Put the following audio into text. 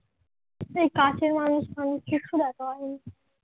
এই কাছের মানুষ টানুস কিছু দেখা হয়নি।